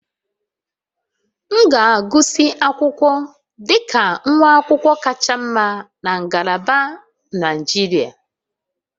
M ga-agụsị akwụkwọ dị ka nwa akwụkwọ kacha mma na ngalaba injinia